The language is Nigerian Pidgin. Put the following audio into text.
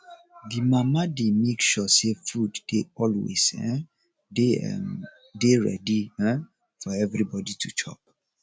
di mama dey make sure sey food dey always um dey um dey ready um for everybodi to chop